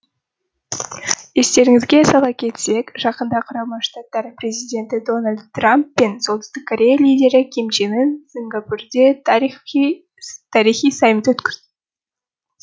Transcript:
естеріңізге сала кетсек жақында құрама штаттар президенті дональд трамп пен солтүстік корея лидері ким чен ын сингапурде тарихи саммит өткізді